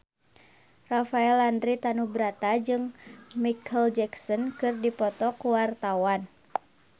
Rafael Landry Tanubrata jeung Micheal Jackson keur dipoto ku wartawan